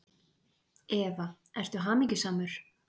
Eva: Ertu hamingjusamur?